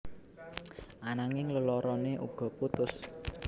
Ananging leloroné uga putus